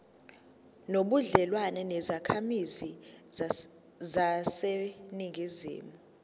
nobudlelwane nezakhamizi zaseningizimu